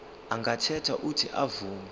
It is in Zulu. angakhetha uuthi avume